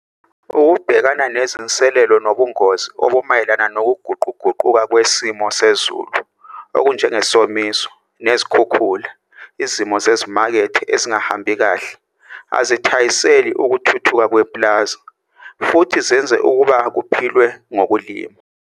Ukubhekana nezinselelo nobungozi obumayelana nokuguquguquka kwesimi sezulu okunjengesomiso nezikhukhula, izimo zezimakethe ezingahambi kahle azithayiseli ukuthuthuka kwepulazi futhi zenze ukuba kuphilwe ngokulima.